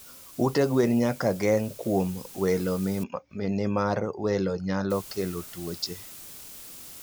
Ute gwen nyak geng kuom welo nimar welo nyalo kelo tuoche